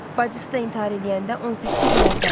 Bacısı da intihar eləyəndə 18 il əvvəl.